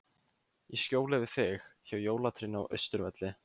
Í skjóli við þig, hjá jólatrénu á Austurvelli.